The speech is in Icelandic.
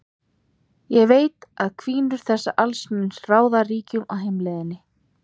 Ég veit að hvinur þessa alls mun ráða ríkjum á heimleiðinni.